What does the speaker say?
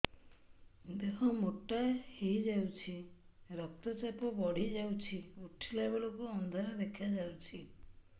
ଦେହ ମୋଟା ହେଇଯାଉଛି ରକ୍ତ ଚାପ ବଢ଼ି ଯାଉଛି ଉଠିଲା ବେଳକୁ ଅନ୍ଧାର ଦେଖା ଯାଉଛି